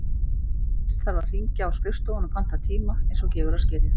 Fyrst þarf að hringja á skrifstofuna og panta tíma, eins og gefur að skilja.